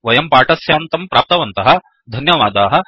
वयं पाठस्यान्तं प्राप्तवन्तः धन्यवादाः